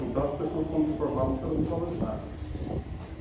Então as pessoas, como se formavam, não seriam muito valorizadas.